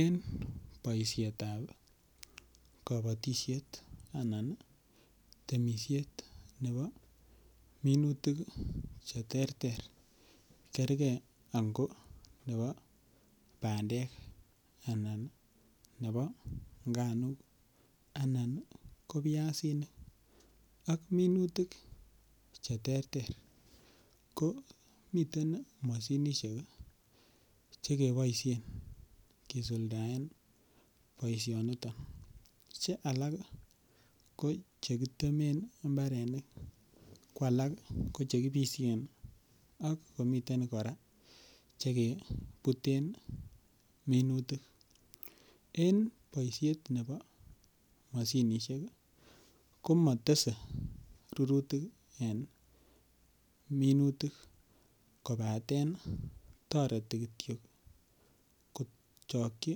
En boishetab kobotishet anan temishet nebo minutik che terter kerge ango nebo bandek anan nebo nganuk anan ko biasinik ak minutik che terter ko miten Moshinishek che keboishen kisuldaen boishoniton Che alak ko che kitemen mbarenik ko alak ko che kibishen ak komiten koraa che kebuten minutik en boishet nebo Moshinishek ko motese rurutik en minutik kobaten toreti kityo kochokyi